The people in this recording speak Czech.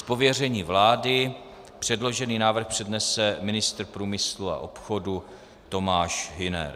Z pověření vlády předložený návrh přednese ministr průmyslu a obchodu Tomáš Hüner.